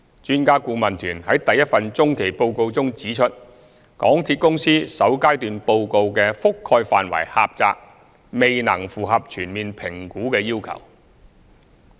專家顧問團於第一份中期報告中指出，港鐵公司首階段報告的覆蓋範圍狹窄，未能符合全面評估的要求。